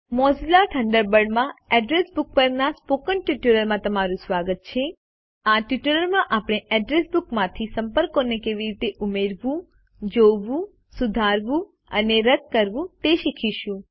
Mozilla Thunderbird માં address book પરના spoken ટ્યુટોરીયલમાં તમારું સ્વાગત છે આ ટ્યુટોરીયલ માં આપણે અડ્રેસ બુકમાંથી સંપર્કોને કેવી રીતે ઉમેરવું જોવું સુધારવું અને રદ કરવું તે શીખીશું